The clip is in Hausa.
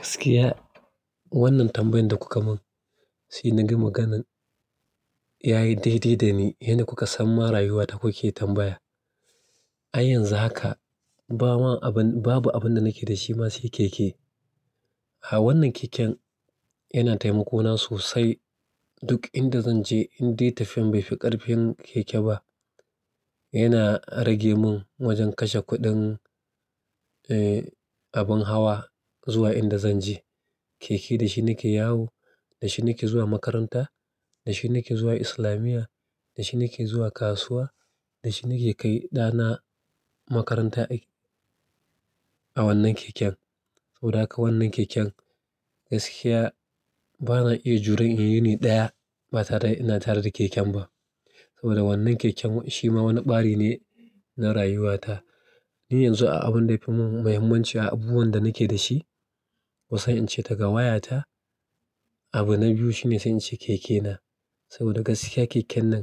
Gaskiya wannan tambayan da kuka mun, sai na ga maganan yayi daidai dani, yanda kuka san ma rayuwa ta kuke tambaya. Ai yanzu haka, ba ma abun, babu abun da nake da shi ma sai keke. A wannan keken yana taimako na sosai duk inda zan je, in dai tafiyan bai fi ƙarfi keke ba. Yana rage mun wajen kashe kuɗin, eh abun hawa zuwa inda zan je. Keke da shi nake yawo, da shi nake zuwa makaranta, da shi nake zuwa islamiya, da shi nake zuwa kasuwa, da shi nake kai ɗa na makaranta ai a wannan keken. Saboda haka wannan keken gaskiya ba na iya juran ya yi hini ɗaya ba tare da ina tare da keken ba. Saboda wannan keken shi ma wani ɓari ne na rayuwa ta. Ni yanzu a abun da yafi mun muhimmanci a abubuwan da nake da shi, kusan jn ce daga waya ta, abu na biyu shine sai in ce keke na. Saboda gaskiya keken nan